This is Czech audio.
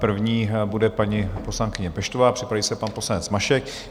První bude paní poslankyně Peštová, připraví se pan poslanec Mašek.